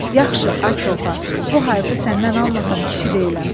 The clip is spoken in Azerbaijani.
Yaxşı, ay Koxa, bu hayfı səndən almasam kişi deyiləm.